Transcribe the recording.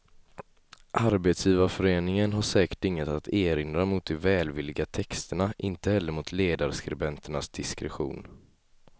Arbetsgivarföreningen har säkert inget att erinra mot de välvilliga texterna, inte heller mot ledarskribenternas diskretion.